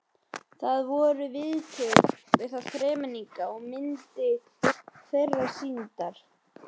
Þar voru viðtöl við þá þremenninga og myndir þeirra sýndar.